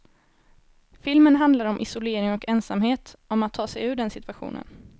Filmen handlar om isolering och ensamhet, om att ta sig ur den situationen.